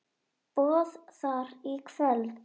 Boð þar í kvöld.